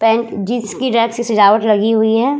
Pant jeans की rack से सजावट लगी हुई है।